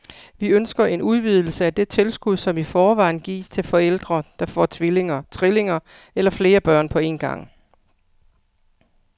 Vi ønsker en udvidelse af det tilskud, som i forvejen gives til forældre, der får tvillinger, trillinger eller flere børn på en gang.